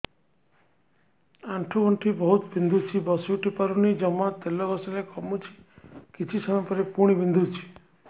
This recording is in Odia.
ଆଣ୍ଠୁଗଣ୍ଠି ବହୁତ ବିନ୍ଧୁଛି ବସିଉଠି ପାରୁନି ଜମା ତେଲ ଘଷିଲେ କମୁଛି କିଛି ସମୟ ପରେ ପୁଣି ବିନ୍ଧୁଛି